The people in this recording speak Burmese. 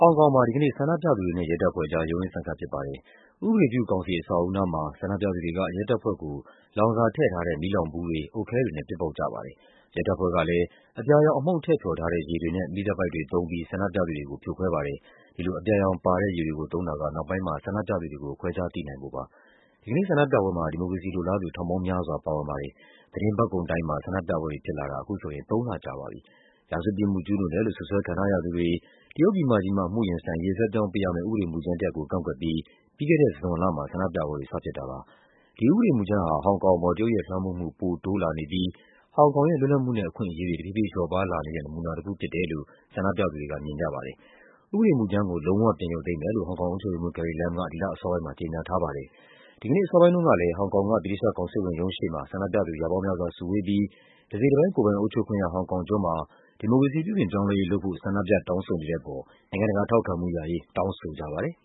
ောင်ကောင်မှာ ဒီကနေ့ ဆန္ဒပြသူတွေနဲ့ ရဲတပ်ဖွဲ့အကြား ရုန်းရင်းဆန်ခတ် ဖြစ်ပါတယ်။ ဥပဒေပြုကောင်စီ အဆောက်အဦနားမှာ ဆန္ဒပြသူတွေက ရဲတပ်ဖွဲ့ကို လောင်စာထည့် မီးလောင်ဘူးတွေ၊ အုတ်ခဲတွေနဲ့ ပစ်ပေါက်ကြပါတယ်။ ရဲတပ်ဖွဲ့ကလည်း အပြာရောင်အမှုန့် ထည့်ဖျော်ထားတဲ့ ရေတွေနဲ့ မီးသတ်ပိုက်တွေသုံးပြီး ဆန္ဒပြသူတွေကို ဖြိုခွဲပါတယ်။ ဒီလို အပြာရောင်ပါတဲ့ ရေတွေကိုသုံးတာက နောက်ပိုင်းမှာ ဆန္ဒပြသူတွေကို ခွဲခြားသိနိုင်ဖို့ပါ။ ဒီကနေ့ ဆန္ဒပြပွဲမှာ ဒီမိုကရေစီလိုလားသူ ထောင်ပေါင်းများစွာ ပါဝင်ပါတယ်။ သီတင်းပတ်ကုန်တိုင်းမှာ ဆန္ဒပြပွဲတွေဖြစ်လာတာ အခုဆိုရင် သုံးလကြာပါပြီ။ ရာဇဝတ်ပြစ်မှု ကျူးလွန်တယ်လို့ စွပ်စွဲခံထားရသူတွေ တရုတ်ပြည်မကြီးမှာ အမှုရင်ဆိုင်ရေး လွှဲပြောင်းပေးရမယ့် ဥပဒေမူကြမ်းတရပ်ကို ကန့်ကွက်ပြီး ပြီးခဲ့တဲ့ဇွန်လမှာ ဆန္ဒပြပွဲတွေ စဖြစ်တာပါ။ ဒီဥပဒေမူကြမ်းဟာ ဟောင်ကောင်အပေါ် တရုတ်ရဲ့လွှမ်းမိုးမှု ပိုတိုးလာနေပြီး ဟောင်ကောင်ရဲ့ လွတ်လပ်မှုနဲ့ အခွင့်အရေးတွေ တဖြည်းဖြည်း လျော့ပါးလာနေတဲ့ နမူနာတခုဖြစ်တယ်လို့ ဆန္ဒပြသူတွေက မြင်ကြပါတယ်။ ဥပဒေမူကြမ်းကို လုံးဝပြန်ရုပ်သိမ်းမယ်လို့ ဟောင်ကောင်အုပ်ချုပ်ရေးမှူး Carrie Lam က ဒီလ အစောပိုင်းမှာ ကြေညာထားပါတယ်။ ဒီကနေ့ အစောပိုင်းတုန်းကလည်း ဟောင်ကောင်က ဗြိတိသျှကောင်စစ်ဝန်ရုံးရှေ့မှာ ဆန္ဒပြသူ ရာပေါင်းများစွာစုဝေးပြီး တစိတ်တပိုင်း ကိုယ်ပိုင်အုပ်ချုပ်ခွင့်ရ ဟောင်ကောင်ကျွန်းမှာ ဒီမိုကရေစီ ပြုပြင်ပြောင်းလဲရေးလုပ်ဖို့ ဆန္ဒပြတောင်းဆိုနေတဲ့အပေါ် နိုင်ငံတကာ ထောက်ခံမှုရရေး တောင်းဆိုကြပါတယ်